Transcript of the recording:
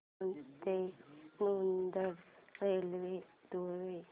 दौंड ते नांदेड रेल्वे द्वारे